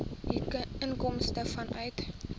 u inkomste vanuit